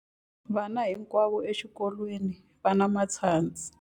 Vana hinkwavo exikolweni va na matshansi.